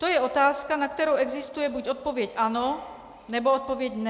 To je otázka, na kterou existuje buď odpověď ano, nebo odpověď ne.